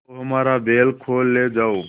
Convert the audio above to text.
तो हमारा बैल खोल ले जाओ